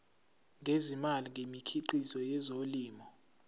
ngezimali ngemikhiqizo yezolimo